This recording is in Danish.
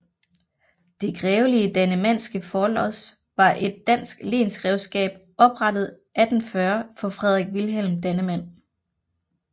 Det grevelige Dannemandske Forlods var et dansk lensgrevskab oprettet 1840 for Frederik Wilhelm Dannemand